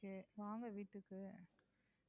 okay வாங்க வீட்டுக்கு.